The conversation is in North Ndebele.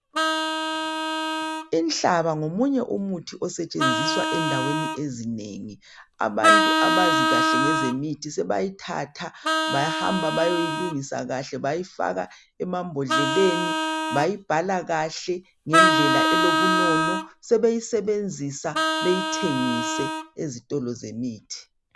Inhlaba ngomunye umuthi osetshenziswa endaweni ezinengi. Abantu abazi kahle ngezemithi sebayithatha bahamba bayoyilungisa kahle bayifaka emambodleleni bayibhala kahle ngendlela elobunono sebeyisebenzisa beyithengise ezitolo zemithi.